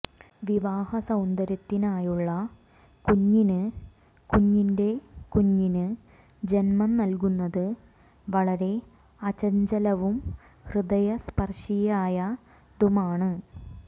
വിവാഹസൌന്ദര്യത്തിനായുള്ള കുഞ്ഞിന് കുഞ്ഞിൻറെ കുഞ്ഞിന് ജന്മം നൽകുന്നത് വളരെ അചഞ്ചലവും ഹൃദയസ്പർശിയായതുമാണ്